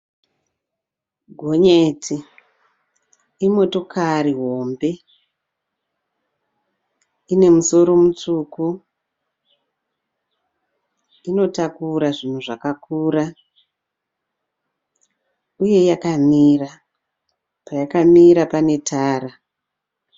Gonyeti imotokari hombe, ine musoro mutsvuku. Inotakura zvinhu zvakakura uye yakamira, payakamira pane tara.